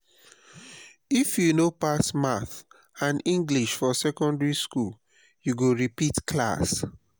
if you no pass maths and english for secondary skool you go repeat class.